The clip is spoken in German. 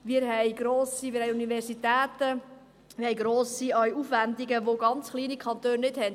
Wir haben Universitäten, wir haben grosse Aufwendungen, die ganz kleine Kantone nicht haben.